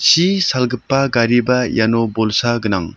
chi salgipa gariba iano bolsa gnang.